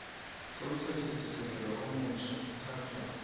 somthethosisekelo omutjha sithathwa